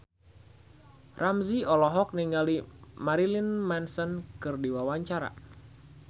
Ramzy olohok ningali Marilyn Manson keur diwawancara